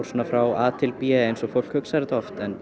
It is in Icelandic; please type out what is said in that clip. frá a til b eins og fólk hugsar þetta oft en